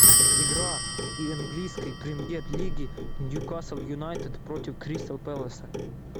игра английской премьер лиги ньюкасл юнайтед против кристал пэласа